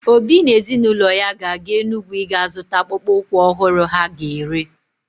Obi na ezinụlọ ya ga-aga Enugwu iga zụta akpụkpọ ụkwụ ọhụrụ ha ga-ere.